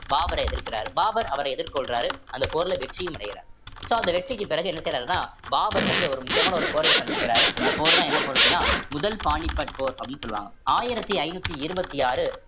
பாபரை எதிர்க்கிறாரு பாபர் அவரை எதிர்கொள்றாரு அந்த போர்ல வெற்றியும் அடையிறாரு so அந்த வெற்றிக்கு பிறகு என்ன செய்றாருன்னா பாபர் வந்து ஒரு முக்கியமான ஒரு போரை சந்திக்கிறாரு அந்த போர் தான் என்ன போர் அப்படின்னா முதல் பானிபட் போர் அப்படீன்னு சொல்லுவாங்க ஆயிரத்தி ஐநூத்தி இருபத்தி ஆறு